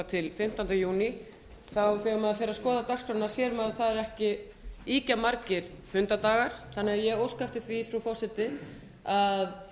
til fimmtánda júní þegar maður fer að skoða dagskrána sér maður að það eru ekki ýkjamargir fundardagar þannig að ég óska eftir því frú forseti að